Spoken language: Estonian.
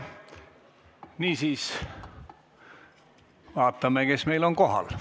Niisiis, vaatame, kes meil kohal on.